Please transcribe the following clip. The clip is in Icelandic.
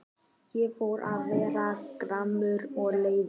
Ég fór að verða gramur og leiður.